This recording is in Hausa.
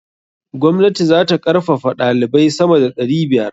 Gwamnati za ta karfafaɗalibai sama da ɗari biyar.